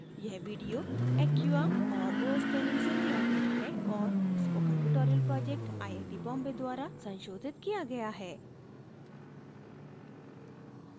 यह video acquia और os training से लिया गया है और spoken tutorial project IIT Bombay द्वारा संशोधित किया गया है